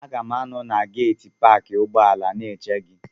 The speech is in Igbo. Aga m anọ na geeti paakị ụgbọala na-eche gị.